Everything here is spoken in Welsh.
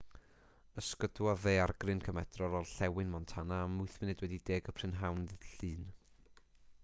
ysgydwodd ddaeargryn cymedrol orllewin montana am 10:08 p.m. ddydd llun